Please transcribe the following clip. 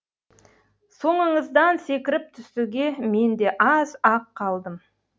соңыңыздан секіріп түсуге мен де аз ақ қалдым